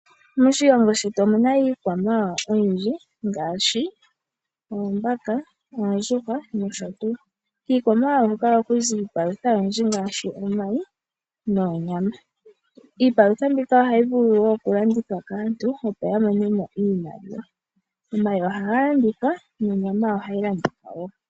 Moshilongo shetu omu na iikwamawawa oyindji ngaashi, oombaka, oondjuhwa nosho tuu. Kiikwamawawa huka oha ku zi iipalutha oyindji ngaashi omayi noonyama. Iipalutha mbika oha yi vulu woo okulandithwa kaantu opo ya mone mo iimaliwa. Omayi oha ga landithwa nonyama oha yi landitha woo.